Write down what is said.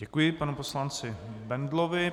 Děkuji panu poslanci Bendlovi.